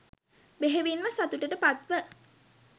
බෙහෙවින්ම සතුටට පත්ව,